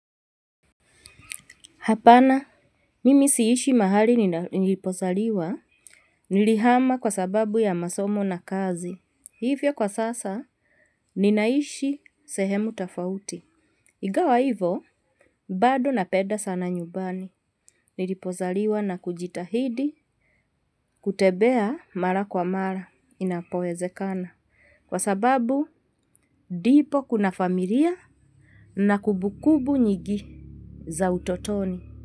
Hapana, mimi siishi mahali nilipozaliwa, nilihama kwa sababu ya masomo na kazi. Hivyo kwa sasa, ninaishi sehemu tafauti. Igawa hivo, bado napeda sana nyubani. Nilipozaliwa na kujitahidi, kutebea mara kwa mara, inapowezekana. Kwa sababu, dipo kuna familia na kubukubu nyigi za utotoni.